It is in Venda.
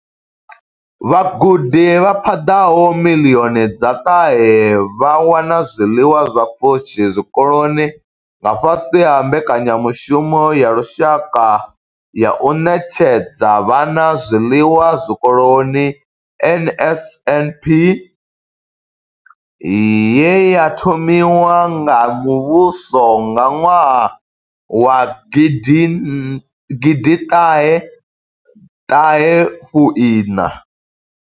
Vhagudi vha paḓaho miḽioni dza ṱahe vha wana zwiḽiwa zwa pfushi zwikoloni nga fhasi ha Mbekanya mushumo ya Lushaka ya u Ṋetshedza Vhana Zwiḽiwa Zwikoloni NSNP ye ya thomiwa nga muvhuso nga ṅwaha wa gidi thahe Ina.